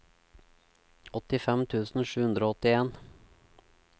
åttifem tusen sju hundre og åttien